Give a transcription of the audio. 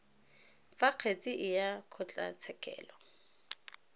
fa kgetsi e ya kgotlatshekelo